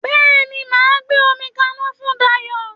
Bẹ́ẹ̀ni, màá gbé omi kaná fún Dayọ̀